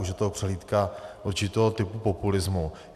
Už je to přehlídka určitého typu populismu.